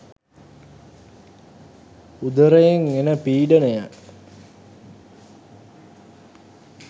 උදරයෙන් එන පීඩනය